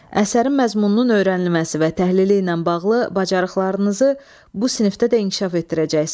Əsərin məzmununun öyrənilməsi və təhlili ilə bağlı bacarıqlarınızı bu sinifdə də inkişaf etdirəcəksiz.